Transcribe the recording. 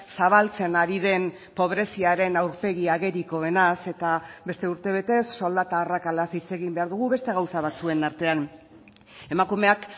zabaltzen ari den pobreziaren aurpegi agerikoenaz eta beste urtebetez soldata arrakalaz hitz egin behar dugu beste gauza batzuen artean emakumeak